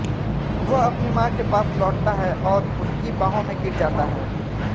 वह अपनी मां के पास लौटता है और उसकी बाहों में गिर जाता है